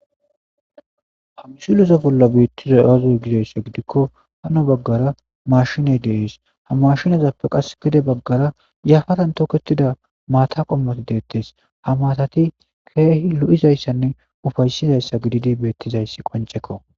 ha gusuleza bolla beettiza awazoy gizayssa gidikko hano baggara mashiney dees ha mashinazappe qas gide baggara yafaran toketida maata qommati deettes ha maatati keehi lo7izayssanne ufaysizayssa gididi beettizayssi qoncekko